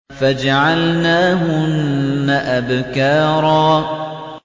فَجَعَلْنَاهُنَّ أَبْكَارًا